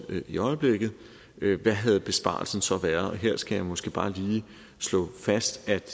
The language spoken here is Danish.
i øjeblikket hvad havde besparelsen så været og her skal jeg måske bare lige slå fast at